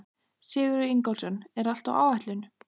Sigurður Ingólfsson: Er allt á áætlun?